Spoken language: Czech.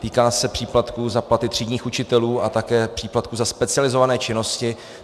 Týká se příplatků za platy třídních učitelů a také příplatků za specializované činnosti.